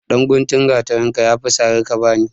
Ɗan guntun gatarinka ya fi sari ka ba ni.